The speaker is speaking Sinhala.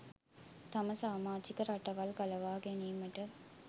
තම සාමාජික රටවල් ගලවා ගැනීමට